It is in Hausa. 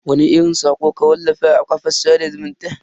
Wani irin sako ka wallafa a kafar sada zumunta?